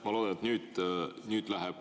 Ma loodan, et nüüd läheb …